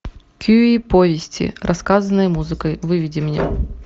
кюи повести рассказанные музыкой выведи мне